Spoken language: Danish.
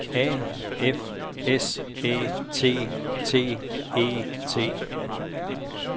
A F S Æ T T E T